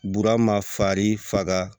Burama farin faga